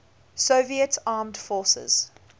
soviet armed forces